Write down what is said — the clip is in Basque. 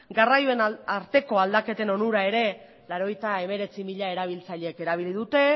garraioen arteko aldaketen onura ere laurogeita hemeretzi mila erabiltzaileek erabili dute